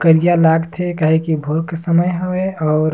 करिया लाग थे काहे की भोर के समय हवे और--